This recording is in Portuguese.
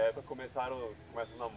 É, para começar o, começa o